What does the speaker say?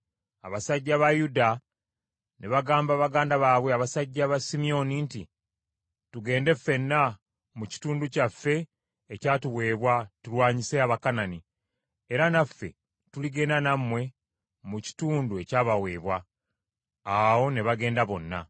Abasajja ba Yuda ne bagamba baganda baabwe abasajja ba Simyoni nti, “Tugende ffenna mu kitundu kyaffe ekyatuweebwa tulwanyise Abakanani, era naffe tuligenda nammwe mu kitundu ekyabaweebwa.” Awo ne bagenda bonna.